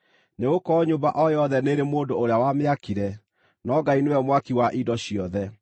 Nĩgũkorwo nyũmba o yothe nĩĩrĩ mũndũ ũrĩa wamĩakire, no Ngai nĩwe mwaki wa indo ciothe.